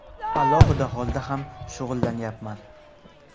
Alohida holda ham shug‘ullanyapman.